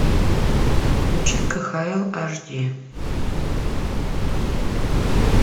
включи кхл аш ди